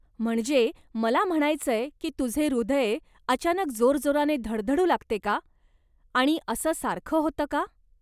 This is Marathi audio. म्हणजे मला म्हणायचं की तुझे हृदय अचानक जोरजोराने धडधडू लागते का आणि असं सारखं होतं का?